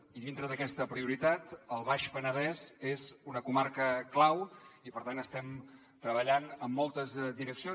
i dintre d’aquesta prioritat el baix penedès és una comarca clau i per tant estem treballant en moltes direccions